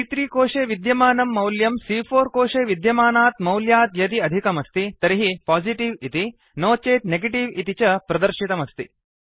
सी॰॰3 कोशे विद्यमानं मौल्यं सी॰॰4 कोशे विद्यमानात् मौल्यात् यदि अधिकमस्ति तर्हि पोजिटिव् इति नो चेत् नेगेटिव इति च प्रदर्शितमस्ति